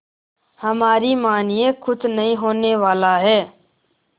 हमारी मानिए कुछ नहीं होने वाला है